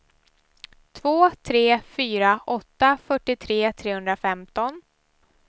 två tre fyra åtta fyrtiotre trehundrafemton